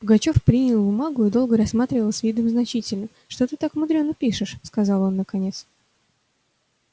пугачёв принял бумагу и долго рассматривал с видом значительным что ты так мудрено пишешь сказал он наконец